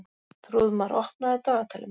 Þrúðmar, opnaðu dagatalið mitt.